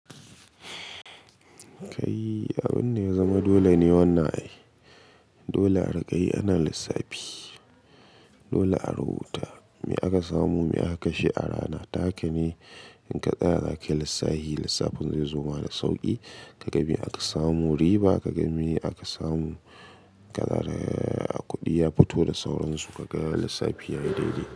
Kai abin da ya zama dole ne wanna. Dole a riƙe ana lissafi, dole a rubuta me aka samu me aka sha a rana. Haka ne in ka tsaya zake lissafi lissafin zai zama da sauƙi. Ka ga me aka samu riba, ka ga me aka samu kanada kuɗi ya fito da sauransu ka ga lissafi yayi daidai.